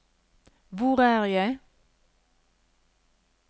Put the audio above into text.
hvor er jeg